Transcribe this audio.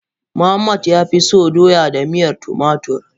Muhammad ya fi so Doya da miyar tumatur.